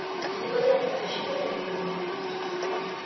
непонятно почему но надо